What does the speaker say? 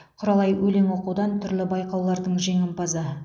құралай өлең оқудан түрлі байқаулардың жеңімпазы